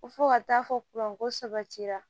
Ko fo ka taa fɔ ko sabatira